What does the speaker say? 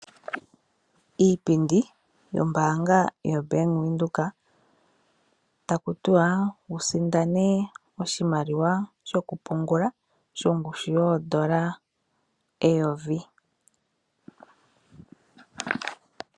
Iipindi yombaanga yobank widhoek, taku tiwa wusindane oshimaliwa sho ku pungula shongushu yoondola eyovi.